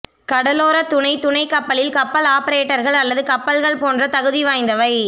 கடலோர துணை துணை கப்பலில் கப்பல் ஆபரேட்டர்கள் அல்லது கப்பல்கள் போன்ற தகுதிவாய்ந்தவை